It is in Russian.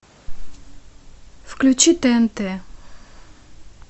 включи тнт